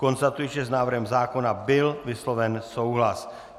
Konstatuji, že s návrhem zákona byl vysloven souhlas.